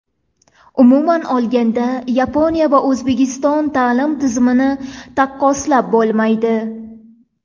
Umuman olganda, Yaponiya va O‘zbekiston ta’lim tizimini taqqoslab bo‘lmaydi.